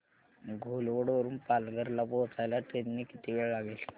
घोलवड वरून पालघर ला पोहचायला ट्रेन ने किती वेळ लागेल